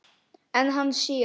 En hann sér.